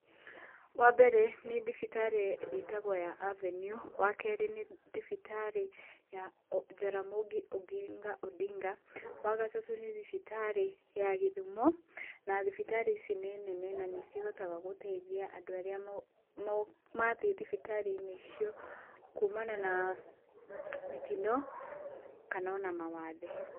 Wa mbere nĩ thibitarĩ ĩtagwo ya Avenue, wa kerĩ nĩ thibitarĩ ya Jaramogi Oginga Odinga, wa gatatũ nĩ thibitarĩ ya Gĩthumo, na thibitarĩ ici nĩ nene, nanĩ cihotaga gũteithia andũ arĩa mathiĩ thibitarĩ-inĩ icio kuumana na mĩtino, kana ona mawathe.